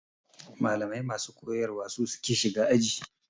Malamai masu koyar wa su suke shiga aji.